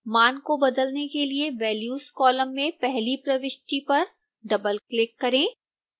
मान को बदलने के लिए values कॉलम में पहली प्रविष्टि पर डबलक्लिक करें